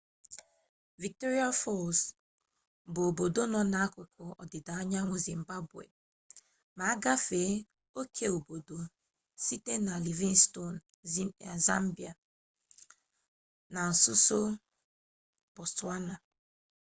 victoria falls bụ obodo nọ n'akụkụ ọdịda anyanwụ zimbabwe ma agafee oke obodo site na livingstone zambia na nsonso botswana